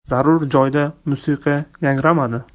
Zarur joyda musiqa yangramadi.